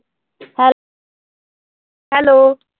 Hello hello.